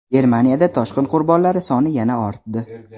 Germaniyada toshqin qurbonlari soni yana ortdi.